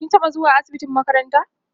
kin taɓa zuwa asibitin makaranta?